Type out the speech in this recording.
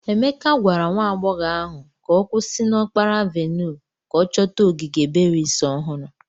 Emeke gwara nwa agbọghọ ahụ ka ọ kwụsị na okpara avenue ka ọ chọta ogige berries ohuru.